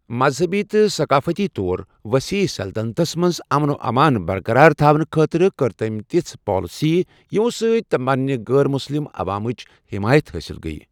مذہبی تہٕ ثقافتی طور وسیع سلطنتس منٛز امن و امان برقرار تھاونہٕ خٲطرٕ کٔر تٔمۍ تِژھٕ پالسیہٕ یِمَو سۭتۍ تٔمِس پنٛنہِ غٲر مسلم عوامٕچ حٮ۪مایت حٲصِل گیہ۔